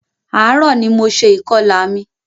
Ààrò ní mo ṣe ìkọlà mi.